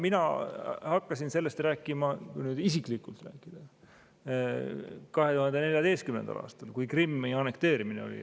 Mina hakkasin sellest isiklikult rääkima 2014. aastal, kui Krimmi annekteerimine oli.